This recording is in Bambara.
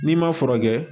N'i ma furakɛ